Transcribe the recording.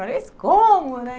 Mas como né?